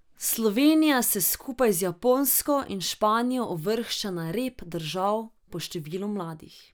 Slovenija se skupaj z Japonsko in Španijo uvršča na rep držav po številu mladih.